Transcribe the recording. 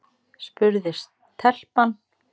spurði telpan.